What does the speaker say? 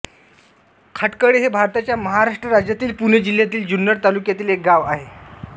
खाटकळे हे भारताच्या महाराष्ट्र राज्यातील पुणे जिल्ह्यातील जुन्नर तालुक्यातील एक गाव आहे